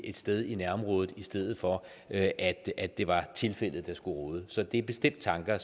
et sted i nærområdet i stedet for at at det var tilfældet der skulle råde så det er bestemt tanker